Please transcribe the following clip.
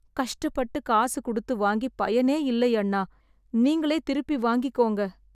கஷ்ட பட்டு காசு குடுத்து வாங்கி பயனே இல்லை அண்ணா , நீங்களே திருப்பி வாங்கிக்கோங்க